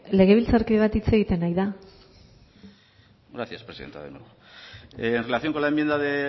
legebiltzarkide bat hitz egiten ari da gracias presidenta de nuevo en relación con la enmienda de